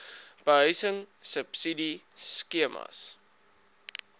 behuising subsidie skemas